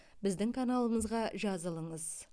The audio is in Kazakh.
біздің каналымызға жазылыңыз